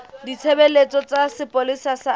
ditshebeletso tsa sepolesa sa afrika